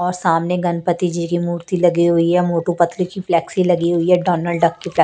और सामने गणपति जी की मूर्ति लगी हुई है मोटू पतलू की फ्लैक्सी लगी हुई है डोनल्ड डक की प्लै--